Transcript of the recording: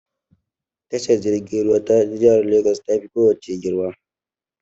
Tashar jirgin ruwa ta jihar Legas ta fi ko wace girma.